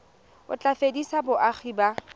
o tla fedisa boagi ba